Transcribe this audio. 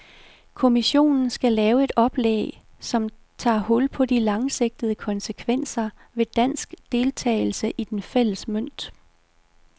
Kommissionen skal lave et oplæg, som tager hul på de langsigtede konsekvenser ved dansk deltagelse i den fælles mønt.